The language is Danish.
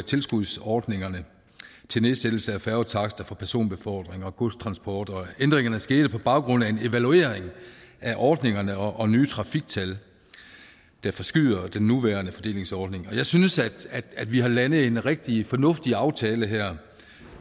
tilskudsordningerne til nedsættelse af færgetakster for personbefordring og godstransport og ændringerne skete på baggrund af en evaluering af ordningerne og nye trafiktal der forskyder den nuværende fordelingsordning jeg synes vi har landet en rigtig fornuftig aftale her